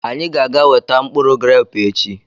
Anyị ga-aga eweta mkpụrụ grẹpu echi.